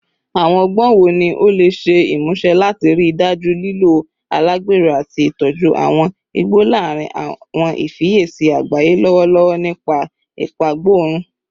Awọn ọgbọn wo ni o le ṣe imuse lati rii daju lilo alagbero ati itoju awọn igbo larin awọn ifiyesi agbaye lọwọlọwọ nipa ipagborun?